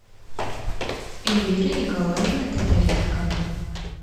эльвиры николаевны татаренко